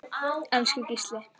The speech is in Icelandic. Elsku Gísli.